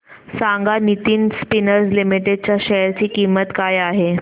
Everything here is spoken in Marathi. सांगा नितिन स्पिनर्स लिमिटेड च्या शेअर ची किंमत काय आहे